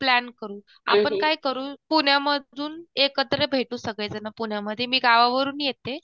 plan करू आपण काय करू पुण्यामधून एकत्र भेटू सगळेजणं पुण्यामध्ये मी गावावरून येते